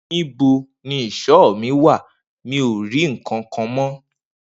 Nibo ni ìsọ mi wà? Mi ò rí kànkàn mọ.